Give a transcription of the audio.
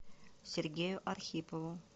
сергею архипову